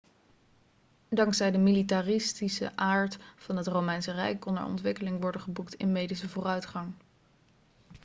dankzij de militaristische aard van het romeinse rijk kon er ontwikkeling worden geboekt in medische vooruitgang